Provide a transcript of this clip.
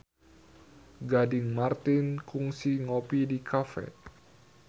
Gading Marten kungsi ngopi di cafe